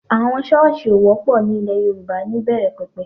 Àwọn Ṣọ́ọ̀sì ò wọ́pọ̀ ní ilẹ̀ Yorùbá níbẹ̀rẹ̀ pẹ̀pẹ̀